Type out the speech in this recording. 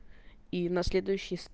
и на следующий